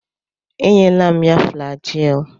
Enyela m ya flajil.